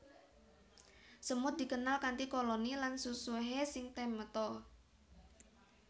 Semut dikenal kanthi koloni lan susuhé sing temata